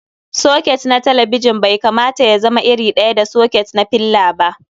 Soket na talabijin bai kamata y azama iri ɗaya da soket na filla ba.